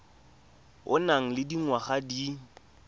o nang le dingwaga di